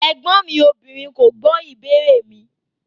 Ẹgbọn mi obìnrin ko gbo ìbéèrè mi.